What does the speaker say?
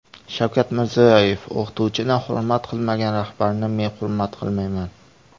Shavkat Mirziyoyev: O‘qituvchini hurmat qilmagan rahbarni men hurmat qilmayman.